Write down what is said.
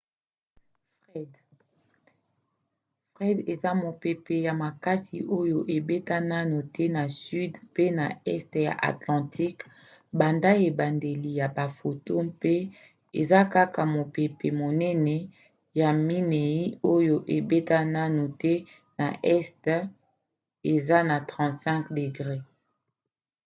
fred eza mopepe ya makasi oyo ebeta naino te na sud mpe na este ya atlantique banda ebandeli ya bafoto mpe eza kaka mopepe monene ya minei oyo ebeta naino te na este eza na 35°w